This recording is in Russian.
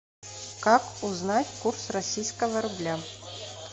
как узнать курс российского рубля